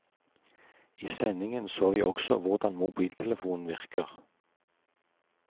I sendingen så vi også hvordan mobiltelefonen virker.